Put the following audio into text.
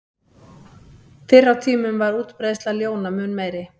Fyrr á tímum var útbreiðsla ljóna mun meiri.